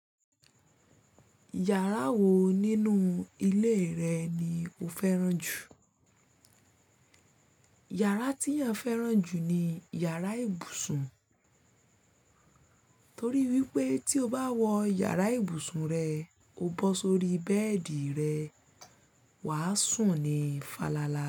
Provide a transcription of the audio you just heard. Ìyàrá wo nínú ilé rẹ ni o fẹ́ràn jù? Iyara tí èyàn fẹ́ràn jù ni iyàrá ibùsùn, torí wípé tí o bá wọ iyàrá ibùsùn rẹ, o bọ́ sórí bẹ́ẹ̀dì rẹ, wà á sùn ní falala.